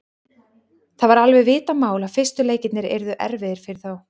Það var alveg vitað mál að fyrstu leikirnir yrðu erfiðir fyrir þá.